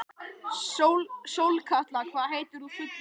Sólkatla, hvað heitir þú fullu nafni?